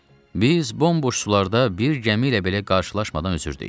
Biz bomboş sularda bir gəmi ilə belə qarşılaşmadan üzdük.